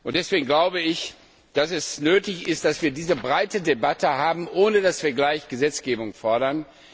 Deswegen glaube ich, dass es nötig ist, dass wir diese breite Debatte führen, ohne dass wir gleich Gesetzgebung fordern.